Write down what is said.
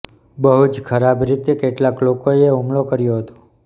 બહું જ ખરાબ રીતે કેટલાંક લોકોએ હુમલો કર્યો હતો